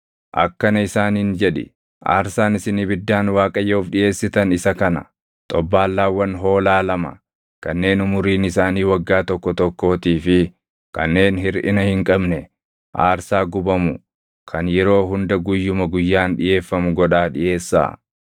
Akkana isaaniin jedhi; ‘Aarsaan isin ibiddaan Waaqayyoof dhiʼeessitan isa kana: xobbaallaawwan hoolaa lama kanneen umuriin isaanii waggaa tokko tokkootii fi kanneen hirʼina hin qabne aarsaa gubamu kan yeroo hunda guyyuma guyyaan dhiʼeeffamu godhaa dhiʼeessaa.